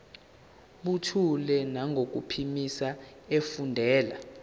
buthule nangokuphimisa efundela